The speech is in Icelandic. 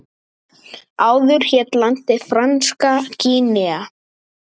Áður hét landið Franska Gínea.